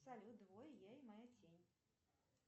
салют двое я и моя тень